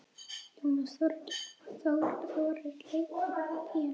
Jónas Þórir leikur á píanó.